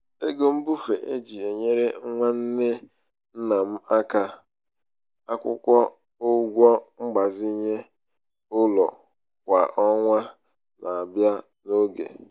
ego mbufe e ji e nyere nwanne um ńnà m aka um akwụ ụgwọ mgbazinye ụlọ kwa ọnwa na-abịa n'oge.